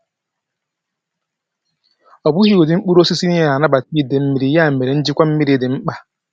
Ọ bụghị ụdị mkpụrụ osisi niile na-anabata ide mmiri, ya mere, njikwa mmiri dị mkpa.